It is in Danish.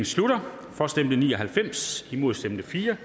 slutter for stemte ni og halvfems imod stemte fire